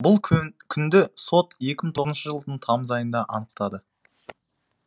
бұл күнді сот екі мың тоғызыншы жылдың тамыз айында анықтады